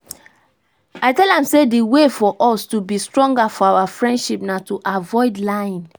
i tell am say the way for us to be stronger for our relationship na to avoid lying